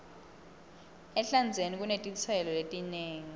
ehlandzeni kunetitselo letinengi